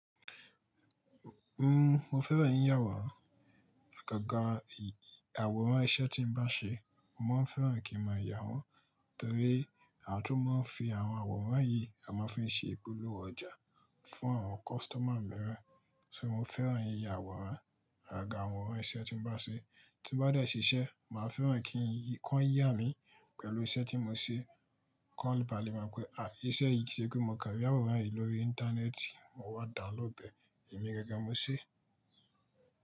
N, mo fẹ́ràn yìyàwòrán. Àgàgà àwòrán iṣẹ́ tí ńbá ṣe, mo máa fẹ́ràn kí n ma yà wọ́n torí àtún mọ máa ń fi àwọn àwòrán yìí, a máa fi ń ṣe ìpolówó ọjà fún àwọn customer mìíràn. So mo fẹ́ràn yìyà àwòrán. Agàgà àwòrán iṣẹ́ tí bá ń ṣe, tí n bá dẹ ṣiṣẹ́, màá fẹ́ràn kan yà mí pẹ̀lú iṣẹ́ tí mo ṣe. Kan bá lè mọ̀ pé, à íṣẹ́ yìí, kì ṣe pé mo kàn rí àwòrán yìí lórí íńtánẹ́ẹ̀tì, mo wá download ẹ̀, èmi gangan mo ṣe.